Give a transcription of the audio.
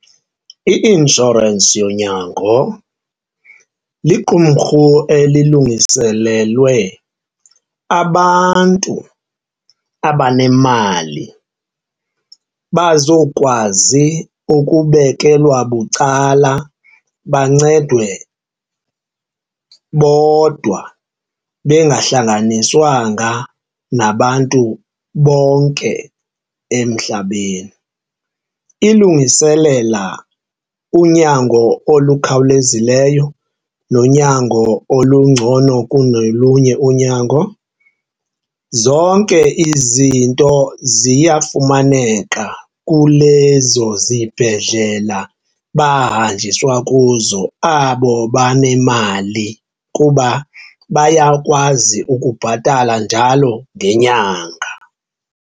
I-inshorensi yonyango liqumrhu elungiselelwe abantu abanemali bazokwazi ukubekelwa bucala bancedwe bodwa bengahlanganiswanga nabantu bonke emhlabeni. Ilungiselela unyango olukhawulezileyo nonyango olungcono kunolunye unyango. Zonke izinto ziyafumaneka kulezo zibhedlela bahanjiswa kuzo abo banemali kuba bayakwazi ukubhatala njalo ngenyanga.